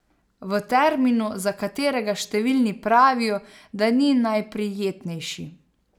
V terminu, za katerega številni pravijo, da ni najprijetnejši.